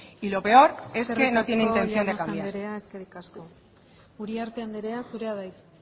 y lo peor es que no tiene intención de cambiar eskerrik llanos andrea eskerrik asko uriarte andrea zurea da hitza